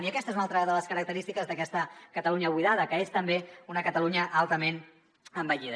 i aquesta és una altra de les característiques d’aquesta catalunya buidada que és també una catalunya altament envellida